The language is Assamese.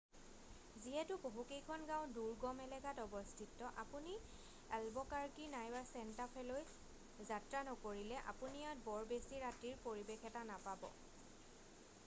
যিহেতু বহু কেইখন গাঁও দুৰ্গম এলেকাত অৱস্থিত আপুনি এল্বকাৰকি নাইবা চেণ্টা ফেলৈ যাত্ৰা নকৰিলে আপুনি ইয়াত বৰ বেছি ৰাতিৰ পৰিবেশ এটা নাপাব